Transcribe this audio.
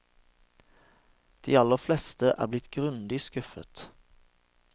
De aller fleste er blitt grundig skuffet.